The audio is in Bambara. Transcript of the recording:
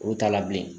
Olu t'a la bilen